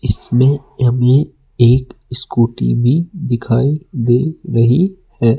इसमें हमें एक स्कूटी भी दिखाई दे रही है।